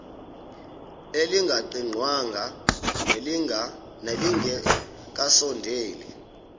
elingaqingqwanga nelinge kasondeli